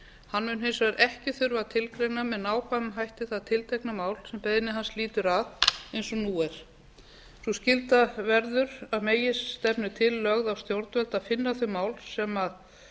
hann mun hins vegar ekki þurfa að tilgreina með nákvæmum hætti það tiltekna mál sem beiðni hans lýtur að eins og nú er sú skylda verður að meginstefnu til lögð á stjórnvöld að finna þau mál sem